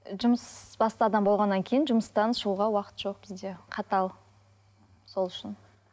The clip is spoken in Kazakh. жұмысбасты адам болғаннан кейін жұмыстан шығуға уақыт жоқ бізде қатал сол үшін